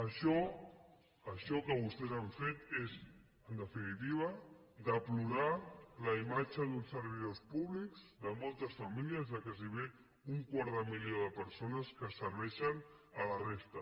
això això que vostès han fet és en definitiva deplorar la imatge d’uns servidors públics de moltes famílies de gairebé un quart de milió de persones que serveixen la resta